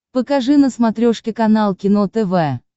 покажи на смотрешке канал кино тв